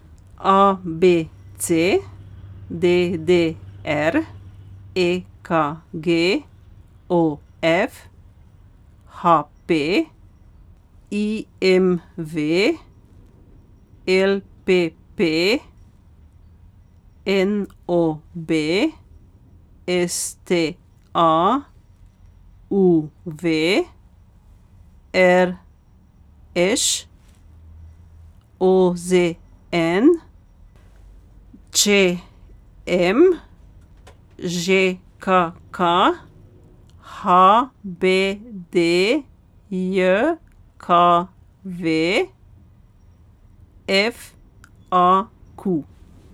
A B C; D D R; E K G; O F; H P; I M V; L P P; N O B; S T A; U V; R Š; O Z N; Č M; Ž K K; H B D J K V; F A Q.